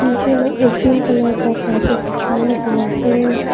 नीचे में एक ग्रीन कलर का कार्पेट बिछाया हुआ है।